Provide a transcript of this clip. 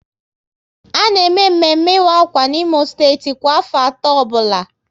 A na eme mmemme ịwa akwa n'Imo steeti kwa afọ atọ ọbụla